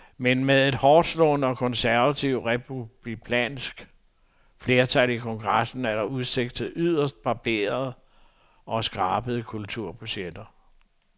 Men med et hårdtslående og konservativt republikansk flertal i kongressen er der udsigt til yderst barberede og skrabede kulturbudgetter.